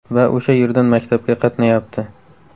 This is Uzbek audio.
Va o‘sha yerdan maktabga qatnayapti.